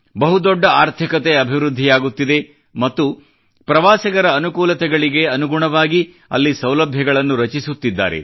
ಬಹುದೊಡ್ಡ ಆರ್ಥಿಕತೆ ಅಭಿವೃದ್ಧಿಯಾಗುತ್ತಿದೆ ಮತ್ತು ಪ್ರವಾಸಿಗರ ಅನುಕೂಲತೆಗಳಿಗೆ ಅನುಗುಣವಾಗಿ ಅಲ್ಲಿ ಸೌಲಭ್ಯಗಳನ್ನು ರಚಿಸುತ್ತಿದ್ದಾರೆ